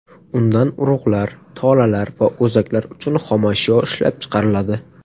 Undan urug‘lar, tolalar va o‘zaklar uchun xomashyo ishlab chiqariladi.